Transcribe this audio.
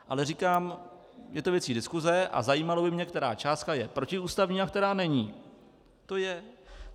Ale říkám, je to věc diskuse a zajímalo by mě, která částka je protiústavní a která není.